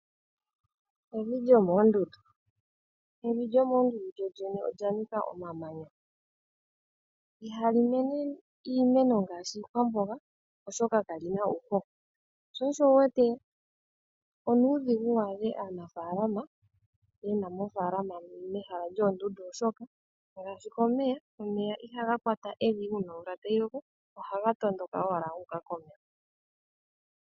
Evi lyomoondundu, evi lyomoondundu lyolyene olyanika omamanya. Ihali mene iimeno ngaashi iikwamboga oshoka kalina uuhoho sho osho wuwete onuudhigu waadhe aanafalama yena mo oofaalama mehala lyoondundu, oshoka ngaashi komeya, omeya ihaga kwata evi uuna omvula tayi loko ohaga tondoka owala guuka komeho.